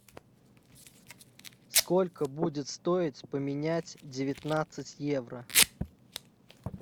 сколько будет стоить поменять девятнадцать евро